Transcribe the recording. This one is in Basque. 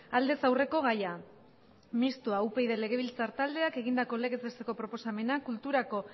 aldez aurreko gaia mistoa upyd legebiltzar taldeak egindako legez besteko proposamena kulturako